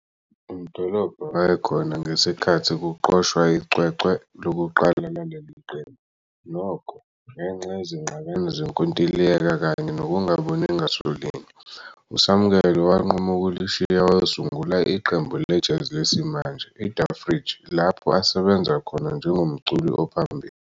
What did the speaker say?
UMdolomba wayekhona ngesikhathi kuqoshwa icwecwe lokuqala laleli qembu, nokho, ngenxa yezingxabano zenkontileka kanye nokungaboni ngaso linye, uSamkelo wanquma ukulishiya wayosungula iqembu le-jazz lesimanje iThe Fridge lapho asebenza khona njengomculi ophambili.